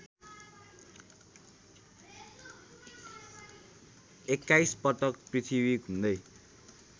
२१ पटक पृथ्वी घुम्दै